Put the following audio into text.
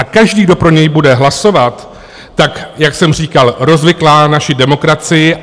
A každý, kdo pro něj bude hlasovat, tak jak jsem říkal, rozviklá naši demokracii.